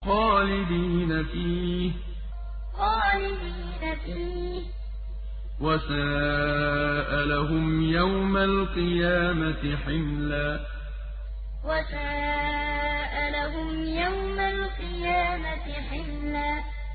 خَالِدِينَ فِيهِ ۖ وَسَاءَ لَهُمْ يَوْمَ الْقِيَامَةِ حِمْلًا خَالِدِينَ فِيهِ ۖ وَسَاءَ لَهُمْ يَوْمَ الْقِيَامَةِ حِمْلًا